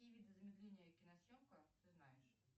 какие виды замедления киносъемка ты знаешь